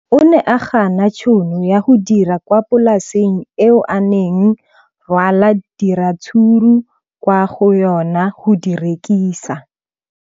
O ne a gana tšhono ya go dira kwa polaseng eo a neng rwala diratsuru kwa go yona go di rekisa.